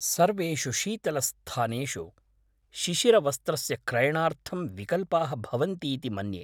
सर्वेषु शीतलस्थानेषु शिशिरवस्त्रस्य क्रयणार्थं विकल्पाः भवन्तीति मन्ये।